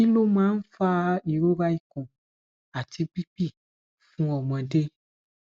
kí ló máa ń fa ìrora ikun àti bibi fun ọmọde